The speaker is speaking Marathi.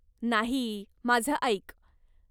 नाही, माझं ऐक.